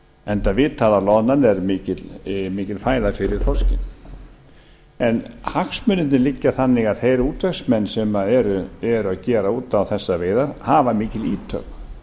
enda vitað að loðnan er mikil fæða fyrir þorskinn hagsmunirnir liggja þannig að þeir útvegsmenn sem eru að gera út á þessar veiðar hafa mikil ítök